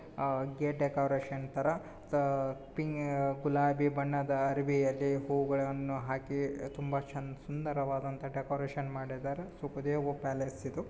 Gate decoration ತರ ಪಿ ಗುಲಾಬಿ ಬಣ್ಣದ ಅರಬಿಯಲ್ಲಿ ಹೂಗಳನ್ನು ಹಾಕಿ ತುಂಬಾ ಚೆನ್ನ ಸುಂದರವಾದಂತ ಡೆಕೋರೇಷನ್ ಮಾಡಿದ್ದಾರೆ ಸುಖದೇವ್ ಪ್ಯಾಲೇಸ್ ಇದು.